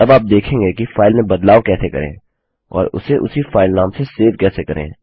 अब आप देखेंगे कि फाइल में बदलाव कैसे करें और उसे उसी फाइल नाम से सेव कैसे करें